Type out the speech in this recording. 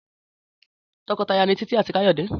Tọkọtaya ni Títí àti Káyọ̀dé